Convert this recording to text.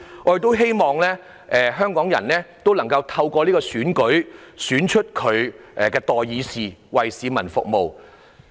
我亦希望香港人能夠透過這次選舉，選出他們的代議士，為市民服務。